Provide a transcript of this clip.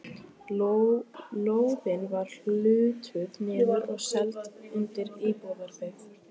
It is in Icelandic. Lóðin var hlutuð niður og seld undir íbúðabyggð.